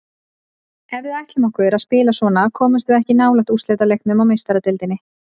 Ef að við ætlum okkur að spila svona komumst við ekki nálægt úrslitaleiknum í Meistaradeildinni.